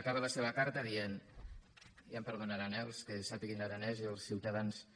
acaba la seva carta dient i ja em perdonaran eh els que sàpiguen aranès i els ciutadans